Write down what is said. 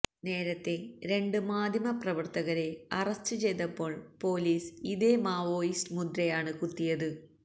നേരത്തെ രണ്ട് മാധ്യമ പ്രവർത്തകരെ അറസ്റ്റ് ചെയ്തപ്പോൾ പൊലീസ് ഇതേ മാവോയിസ്റ്റ് മുദ്രയാണ് കുത്തിയത്